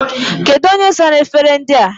Kedu onye sara efere ndị a?